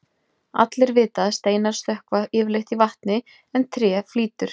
Allir vita að steinar sökkva yfirleitt í vatni en tré flýtur.